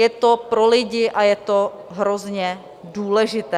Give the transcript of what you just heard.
Je to pro lidi a je to hrozně důležité.